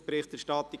«Berichterstattung